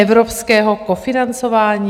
Evropského kofinancování?